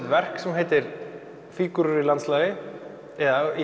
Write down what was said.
verk sem heitir fígúrur í landslagi eða í